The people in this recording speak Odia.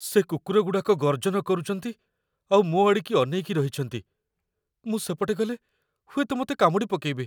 ସେ କୁକୁରଗୁଡ଼ାକ ଗର୍ଜନ କରୁଚନ୍ତି ଆଉ ମୋ ଆଡ଼ିକି ଅନେଇକି ରହିଚନ୍ତି । ମୁଁ ସେପଟେ ଗଲେ, ହୁଏତ ମତେ କାମୁଡ଼ିପକେଇବେ ।